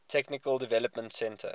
technical development center